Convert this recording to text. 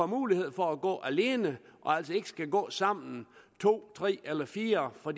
mulighed for at gå alene og altså ikke skal gå sammen to tre eller fire for